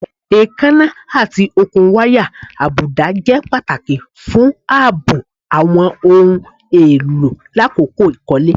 Eekanna ati okun waya abuda jẹ pataki fun aabo awọn ohun elo lakoko ikole